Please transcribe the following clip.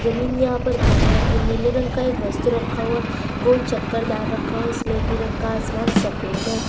जमीन यहाँ पर भूरे रंग की नीले रंग का एक वस्तु रखा हुआ गोल चक्करदार रखा हुआ है स्लेटी रंग का आसमान सफेद है।